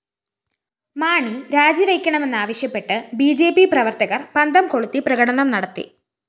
മാണി രാജിവയ്ക്കണമെന്നാവശ്യപ്പെട്ട് BJP പ്രവര്‍ത്തകര്‍ പന്തംകൊളുത്തി പ്രകടനം നടത്തി